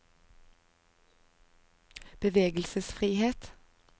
bevegelsesfrihet